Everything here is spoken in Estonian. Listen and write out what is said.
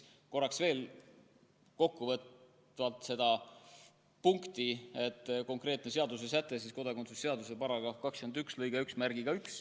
Korraks veel kokkuvõtvalt sellest konkreetsest seadusesättest, kodakondsuse seaduse § 21 lõikest 11.